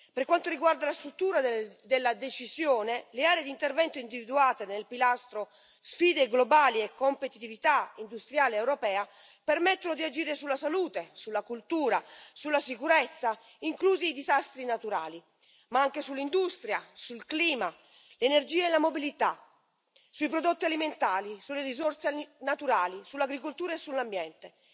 Per quanto riguarda la struttura della decisione, le aree di intervento individuate nel pilastro sfide globali e competitività industriale europea permettono di agire sulla salute, sulla cultura, sulla sicurezza, inclusi i disastri naturali, ma anche sull'industria, sul clima, l'energia e la mobilità, sui prodotti alimentari, sulle risorse naturali, sull'agricoltura e sull'ambiente